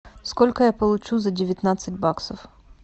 сколько я получу за девятнадцать баксов